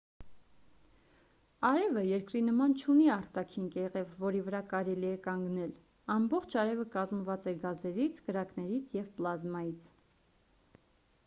արևը երկրի նման չունի արտաքին կեղև որի վրա կարելի է կանգնել ամբողջ արևը կազմված է գազերից կրակներից և պլազմայից